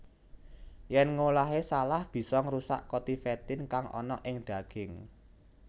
Yèn ngolahé salah bisa ngrusak kotitefin kang ana ing daging